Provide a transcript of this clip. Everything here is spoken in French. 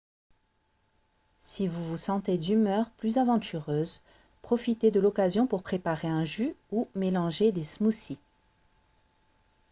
si vous vous sentez d'humeur plus aventureuse profitez de l'occasion pour préparer un jus ou mélanger des smoothies